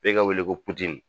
F'e ka wele ko Putini.